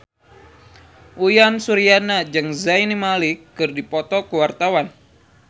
Uyan Suryana jeung Zayn Malik keur dipoto ku wartawan